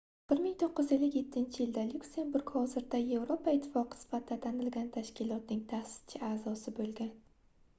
1957-yilda lyuksemburg hozirda yevropa ittifoqi sifatida tanilgan tashkilotning taʼsischi aʼzosi boʻlgan